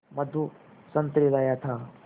मधु संतरे लाया था